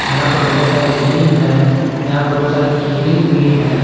यहां पर बहुत सारे रिंग हैं यहां पर बहुत सारे की रिंग भी हैं।